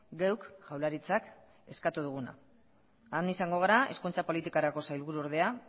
geuk jaurlaritzak eskatu duguna han izango gara hezkuntza politikarako sailburuordea